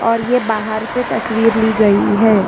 और ये बाहर से तस्वीर ली गई है।